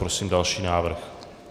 Prosím další návrh.